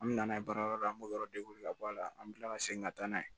An bɛ na n'a ye baarayɔrɔ la an b'o yɔrɔ ka bɔ a la an bɛ tila ka segin ka taa n'a ye